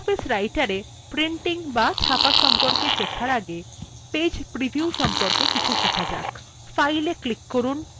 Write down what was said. libreoffice writerএ printing সম্পর্কে শেখার আগে page preview সম্পর্কে কিছু শেখা যাক